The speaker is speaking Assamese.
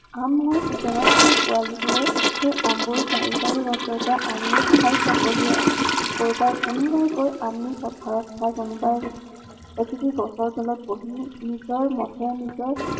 আমৰ season ত সেই পোৱালীবোৰে, সেই আমবোৰ পাৰি পাৰি গছৰ পৰাআনিও খায়, চকলিয়াই চকলিয়াই। কোনোবাই কয় আমি পথাৰত খাও, কোনোবাই এজোপি গছৰ তলত বহিও, নিজৰ মতে নিজৰ